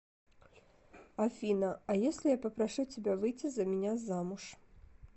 афина а если я попрошу тебя выйти за меня замуж